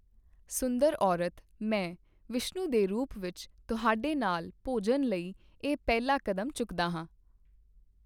ਸੁੰਦਰ ਔਰਤ, ਮੈਂ, ਵਿਸ਼ਨੂੰ ਦੇ ਰੂਪ ਵਿੱਚ, ਤੁਹਾਡੇ ਨਾਲ ਭੋਜਨ ਲਈ ਇਹ ਪਹਿਲਾ ਕਦਮ ਚੁੱਕਦਾ ਹਾਂ।